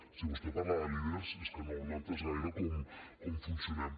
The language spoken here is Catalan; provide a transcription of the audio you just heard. si vostè parla de líders és que no ha entès gaire com funcionem